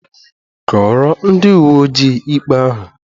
Kọọrọ ndị uwe ojii ikpe ahụ!